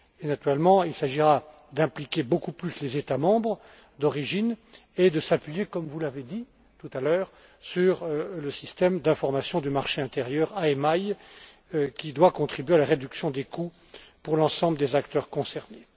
Et naturellement, il s'agira d'impliquer beaucoup plus les États membres d'origine et de s'appuyer, comme vous l'avez dit tout à l'heure, sur le système d'information du marché intérieur IMI qui doit contribuer à la réduction des coûts pour l'ensemble des acteurs concernés.